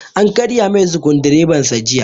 An karya mai sukudireban sa jiya